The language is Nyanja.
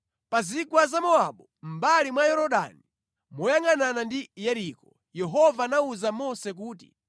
Pa zigwa za Mowabu, mʼmbali mwa Yorodani moyangʼanana ndi ku Yeriko, Yehova anawuza Mose kuti,